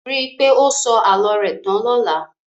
Ríi pé o sọ àlọ́ rẹ tán lọla